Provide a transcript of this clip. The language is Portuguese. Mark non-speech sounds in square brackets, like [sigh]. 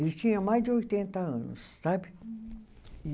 Ele tinha mais de oitenta anos, sabe? [unintelligible] E